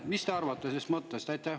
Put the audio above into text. Mis te arvate sellest mõttest?